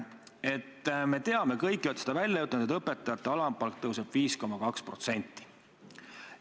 Me kõik ju teame – te olete selle välja öelnud –, et õpetajate alampalk tõuseb 5,2%.